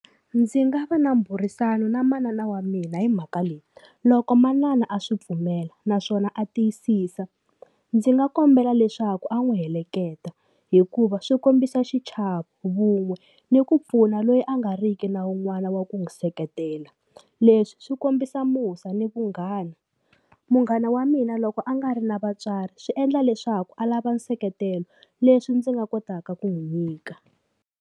Ndzi nga va na mbhurisano na manana wa mina hi mhaka leyi loko manana a swi pfumela naswona a tiyisisa ndzi nga kombela leswaku a n'wi heleketa hikuva swi kombisa xichavo vun'we ni ku pfuna loyi a nga riki na wun'wana wa ku n'wi seketela leswi swi kombisa musa ni vunghana munghana wa mina loko a nga ri na vatswari swi endla leswaku a lava nseketelo leswi ndzi nga kotaka ku n'wi nyika.